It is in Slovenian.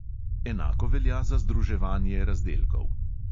Enako velja za združevanje razdelkov.